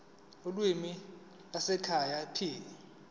ulimi lwasekhaya p